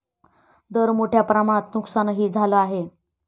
दर मोठ्या प्रमाणात नुकसानंही झालं आहे.